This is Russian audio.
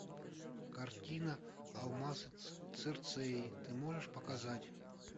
картина алмазы цирцеи ты можешь показать